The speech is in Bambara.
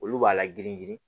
Olu b'a la girin girin